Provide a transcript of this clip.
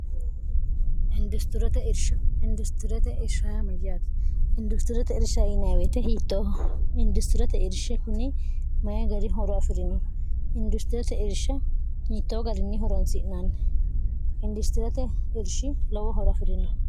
industirete ismayyaat industirote irshainaweete hi industirote irshi kuni mayi gari horo afi'rino industirete irshe hiittoo garinni horonsi'naanni industirete irshi lowo horo afi'rino